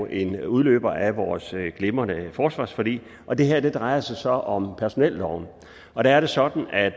en udløber af vores glimrende forsvarsforlig og det her drejer sig så om personelloven hvor det er sådan at